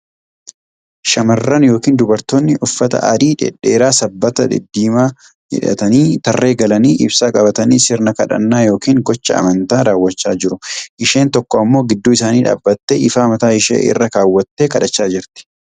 Shamarran yookiin dubartoonni uffata adii dheedheeraa, sabbata diddiimaa hidhatanii tarree galanii ibsaa qabatanii sirna kadhannaa yookiin gochaa amantaa rawwachaa jiru. Isheen tokko ammoo gidduu isaanii dhaabatte ifaa mataa ishee irra kaawwattee kadhachaa jirti.